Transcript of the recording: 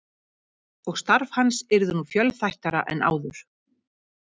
Og starf hans yrði nú fjölþættara en áður.